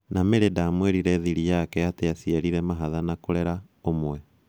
Na Mary ndamwĩrire thiri yake atĩ aciarire mahatha na kũrera ũmwe.